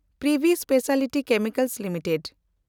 Privi specialty chemicals limited